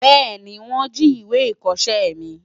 Bẹ́ẹ̀ni wọ́n jí ìwé ìkọṣẹ́ mi.